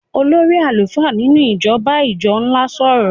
olórí àlùfáà nínú ìjọ ń bá ìjọ ńlá sọ̀rọ̀.